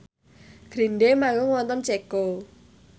Green Day manggung wonten Ceko